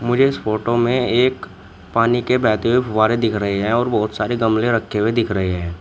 मुझे इस फोटो में एक पानी के बहते हुए फव्वारे दिख रहे हैं और बहुत सारे गमले रखे हुए दिख रहे हैं।